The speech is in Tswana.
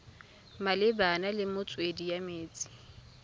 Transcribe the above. malebana le metswedi ya metsi